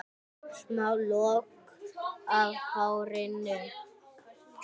Smá lokk af hárinu.